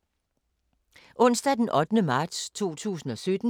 Onsdag d. 8. marts 2017